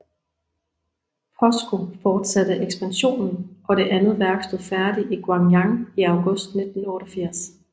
POSCO fortsatte ekspansionen og det andet værk stod færdigt i Gwangyang i august 1988